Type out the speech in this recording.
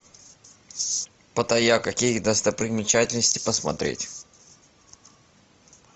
паттайя какие достопримечательности посмотреть